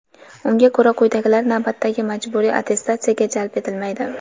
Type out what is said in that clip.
Unga ko‘ra quyidagilar navbatdagi majburiy attestatsiyaga jalb etilmaydi:.